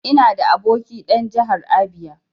Ina da aboki dan Jahar Abia.